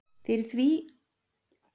Fyrir ríki því er í Braut nefndist.